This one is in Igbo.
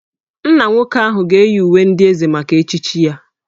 Nna nwoke ahụ ga-eyi uwe ndị Eze maka echichi ya